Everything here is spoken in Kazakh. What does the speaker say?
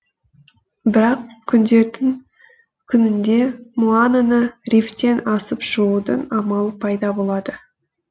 бірақ күндердің күнінде моананы рифтен асып шығудың амалы пайда болады